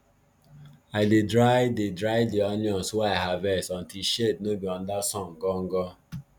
i dey dry dey dry di onions wey i harvest under shade no be under sun gangan